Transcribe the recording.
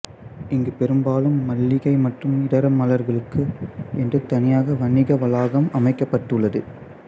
இங்கு பெரும்பாலும் மல்லிகை மற்றும் இதர மலர்களுக்கு என்று தனியாக வணிக வளாகம் அமைக்கப்பட்டு உள்ளது